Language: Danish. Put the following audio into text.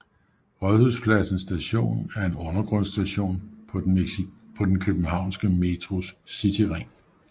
Rådhuspladsen Station er en undergrundsstation på den københavnske Metros Cityring